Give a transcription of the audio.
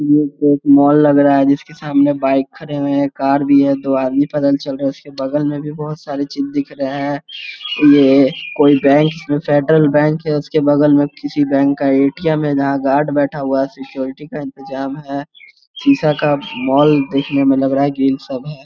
ये तो एक मॉल लग रहा है जिसके सामने बाइक खड़े हुए हैं कार भी है दो आदमी पैदल चल रहे है उसके बगल में भी बहुत सारे चीज़ दिख रहे हैं ये कोई बैंक जिसमें फ़ेडरल बैंक या उस के बगल में किसी बैंक का ए.टी.एम. है जहां गॉर्ड बैठा हुआ है सिक्यूरिटी का इन्तजाम है सीसा का मॉल देखने में लगा रहा है ग्रील सब है।